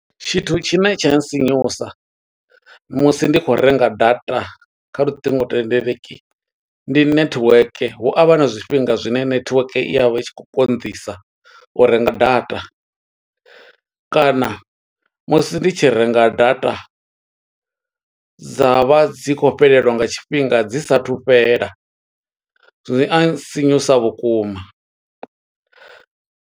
Tshithu tshine tsha sinyusa, musi ndi khou renga data kha luṱingothendeleki, ndi network. Hu a vha na zwifhinga zwine netiweke i ya vha i tshi khou konḓisa, u renga data. Kana musi ndi tshi renga data, dza vha dzi khou fhelelwa nga tshifhinga, dzi sathu fhela. Zwi a nsinyusa vhukuma.